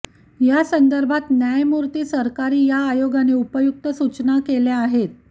या संदर्भात न्यायमूर्ती सरकारी या आयोगाने उपयुक्त सूचना केलेल्या आहेत